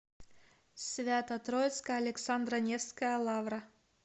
свято троицкая александро невская лавра